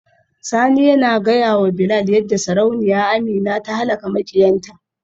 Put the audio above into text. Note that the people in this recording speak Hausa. Sani yana gaya wa Bilal yadda Sarauniya Amina ta halaka makiyanta.